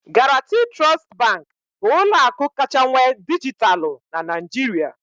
Guaranty Trust Bank bụ ụlọ akụ kacha nwee dijitalụ na Nigeria